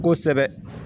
Kosɛbɛ